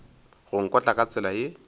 go nkotla ka tsela ye